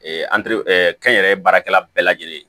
kɛnyɛrɛye baarakɛla bɛɛ lajɛlen ye